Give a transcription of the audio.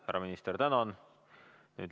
Härra minister, tänan!